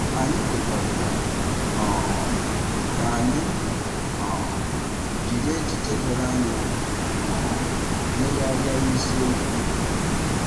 Anyị kwekọrịtara um ka anyị um jiri echiche doro anya um legharịa isiokwu a.